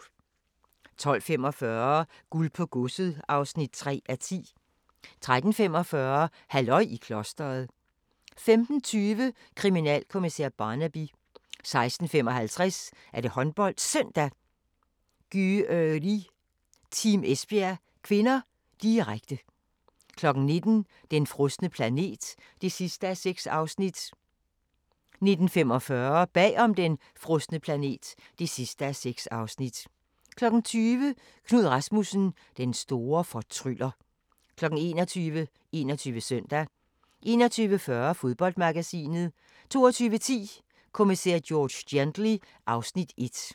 12:45: Guld på godset (3:10) 13:45: Halløj i klostret 15:20: Kriminalkommissær Barnaby 16:55: HåndboldSøndag: Györi-Team Esbjerg (k), direkte 19:00: Den frosne planet (6:6) 19:45: Bag om den frosne planet (6:6) 20:00: Knud Rasmussen – den store fortryller 21:00: 21 Søndag 21:40: Fodboldmagasinet 22:10: Kommissær George Gently (Afs. 1)